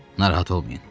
Narahat olmayın.